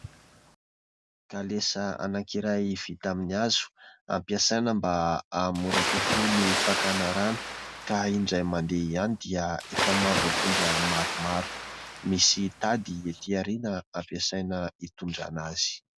Kalesa anankiray vita amin'ny hazo ampiasaina mba hahamora kokoa ny fakana rano ka indray mandeha ihany dia efa mahavoatondra maromaro. Misy tady etỳ aoriana ampiasaina itondrana azy.